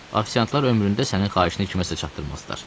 Afisiantlar ömründə sənin xahişini kimsəyə çatdırmazlar.